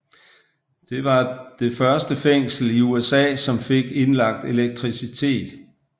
Det var det første fængsel i USA som fik indlagt elektricitet